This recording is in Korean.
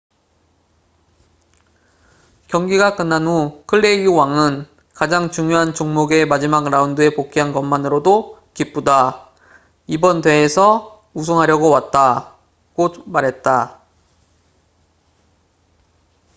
경기가 끝난 후 클레이의 왕은 가장 중요한 종목의 마지막 라운드에 복귀한 것만으로도 기쁘다. 이번 대회에서 우승하려고 왔다.”고 말했다